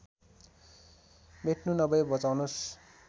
मेट्नु नभए बचाउनुस्